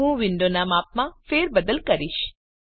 હું વિન્ડોનાં માપમાં ફેરબદલ કરીશ